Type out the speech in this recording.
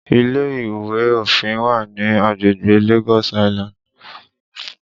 Ile ìwé òfin wà ní agbègbè Lagos Island